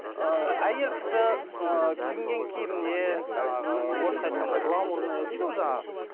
ыыы әйел кісі ыыы киінген киіміне жаңағы орысша айтқанда гламурная дейді ғой жаңағы